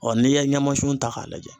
n'i ye ɲamasun ta k'a lajɛ